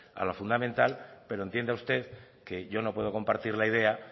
a lo fundamental pero entienda usted que yo no puedo compartir la idea